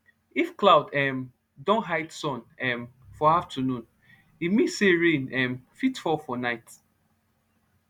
if cloud um don hide sun um for afternoon e mean say rain um fit fall for night